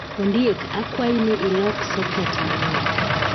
Ondiek, akwayi ni ilok soket mariek